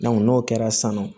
n'o kɛra san nɔ